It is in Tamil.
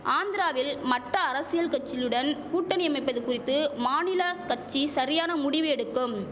ஆந்திராவில் மட்ட அரசியல் கச்சிளுடன் கூட்டணி அமைப்பது குறித்து மாநில கச்சி சரியான முடிவு எடுக்கும்